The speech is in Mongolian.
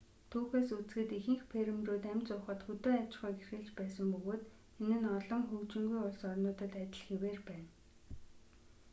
түүхээс үзэхэд ихэнх фермерүүд амь зуухад хөдөө аж ахуйг эрхэлж байсан бөгөөд энэ нь олон хөгжингүй улс орнуудад адил хэвээр байна